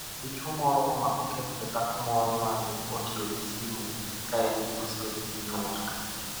Dichuo moro omako kes ne dhako moro ma ne otiyo gi simu ka en gi osiep e piny Amerka